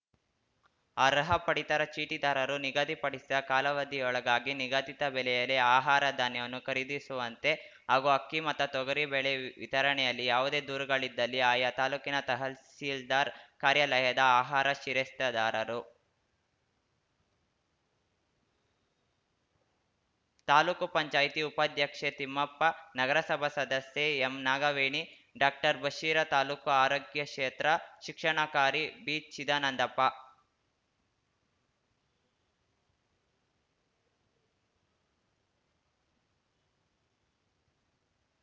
ಅರ್ಹ ಪಡಿತರ ಚೀಟಿದಾರರು ನಿಗದಿಪಡಿಸಿದ ಕಾಲಾವಧಿಯೊಳಗಾಗಿ ನಿಗದಿತ ಬೆಲೆಯಲ್ಲಿ ಆಹಾರ ಧಾನ್ಯವನ್ನು ಖರೀದಿಸುವಂತೆ ಹಾಗೂ ಅಕ್ಕಿ ಮತ್ತು ತೊಗರಿಬೇಳೆ ವಿತರಣೆಯಲ್ಲಿ ಯಾವುದೇ ದೂರುಗಳಿದ್ದಲ್ಲಿ ಆಯಾ ತಾಲೂಕಿನ ತಹಸೀಲ್ದಾರ್ ಕಾರ್ಯಾಲಯದ ಆಹಾರ ಶಿರಸ್ತೇದಾರರು